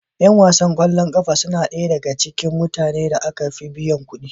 Yan wasan ƙwallon ƙafa suna ɗaya daga cikin mutane da aka fi biyan kuɗi